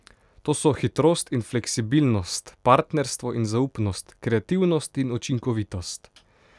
To so hitrost in fleksibilnost, partnerstvo in zaupnost, kreativnost in učinkovitost.